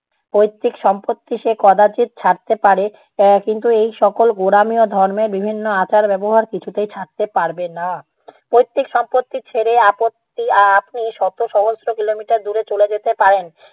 পৈতৃক সম্পত্তি সে কদাচিৎ ছাড়তে পারে এর কিন্তু এই সকল গোড়ামি ও ধর্মে বিভিন্ন আচার ব্যবহার কিছুতেই ছাড়তে পারবে না। পৈতৃক সম্পত্তি ছেড়ে আপত্তি~ আ~ আপনি শত সহস্র কিলোমিটার দূরে চলে যেতে পারেন,